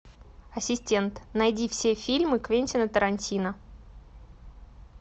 ассистент найди все фильмы квентина тарантино